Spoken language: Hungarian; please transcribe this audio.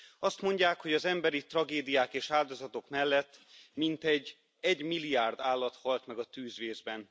Azt mondják, hogy az emberi tragédiák és áldozatok mellett mintegy egymilliárd állat halt meg a tűzvészben.